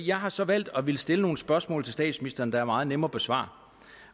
jeg har så valgt at ville stille nogle spørgsmål til statsministeren der er meget nemme at besvare